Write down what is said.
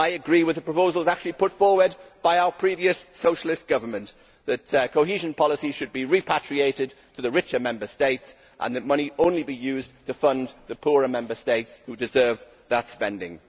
I agree with the proposals put forward by our previous socialist government that cohesion policy should be repatriated to the richer Member States and that money only be used to fund the poorer Member States who deserve that spending.